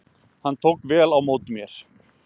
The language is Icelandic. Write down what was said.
Hann tók vel á móti mér.